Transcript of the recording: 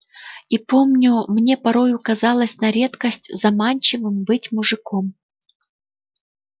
и помню мне порою казалось на редкость заманчивым быть мужиком